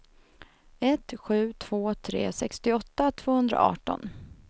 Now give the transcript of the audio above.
ett sju två tre sextioåtta tvåhundraarton